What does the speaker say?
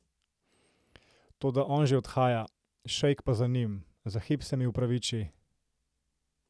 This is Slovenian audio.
Toda on že odhaja, Šejk pa za njim, za hip se mi opraviči.